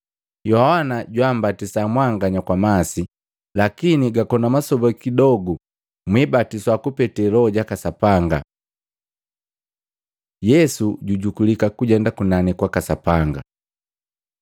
“Yohana jummbatisa mwanganya kwa masi, lakini gakona masoba kidogu mwibatiswa kupete Loho jaka Sapanga.” Yesu jujukulika kujenda kunani kwaka Sapanga